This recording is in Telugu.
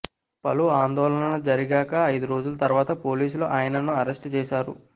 పలు ఆందోళనల జరిగాక ఐదు రోజుల తర్వాత పోలీసులు ఆయనను అరెస్ట్ చేశారు